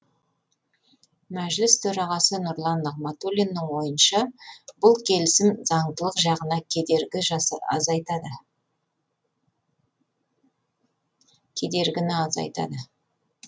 мәжіліс төрағасы нұрлан нығматулиннің ойынша бұл келісім заңдылық жағына кедергі азайтады кедергіні азайтады